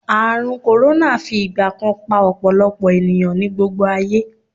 Ààrùn kòrónà fi ìgbà kan pa ọ̀pọ̀lọpọ̀ ènìyàn ní gbogbo ayé